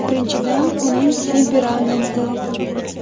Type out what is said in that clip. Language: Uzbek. Birinchidan uning temperamenti.